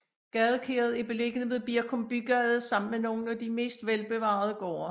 Gadekæret er beliggende ved Birkum Bygade sammen med nogle af de mest velbevarede gårde